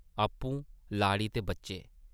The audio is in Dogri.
आपूं, लाड़ी ते बच्चे ।